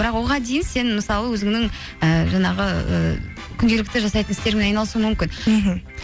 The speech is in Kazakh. бірақ оған дейін сен мысалы өзіңнің ііі жаңағы і күнделікті жасайтын істеріңмен айналысуың мүмкін мхм